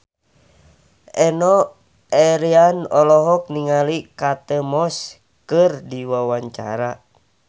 Enno Lerian olohok ningali Kate Moss keur diwawancara